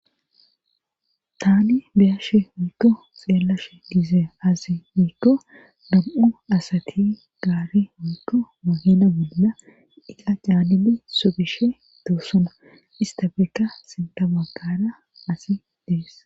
tani beyashe oydo xeellashe diise azi miikko dam7u asati gaari wuydo mahina golla iqa caanibe sobishe doossona ista beeka sintabakara asi dees